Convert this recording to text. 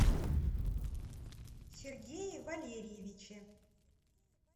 сергее валерьевиче